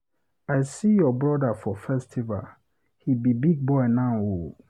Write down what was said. I see your brother for festival, he be big boy now o